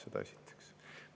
Seda esiteks.